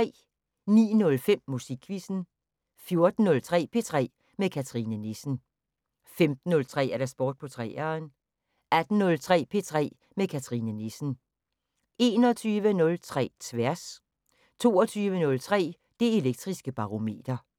09:05: Musikquizzen 14:03: P3 med Cathrine Nissen 15:03: Sport på 3'eren 18:03: P3 med Cathrine Nissen 21:03: Tværs 22:03: Det Elektriske Barometer